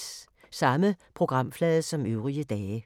Samme programflade som øvrige dage